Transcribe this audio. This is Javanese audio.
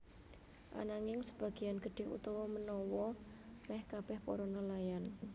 Ananging sebagéan gedhé utawa manawa meh kabeh para nelayan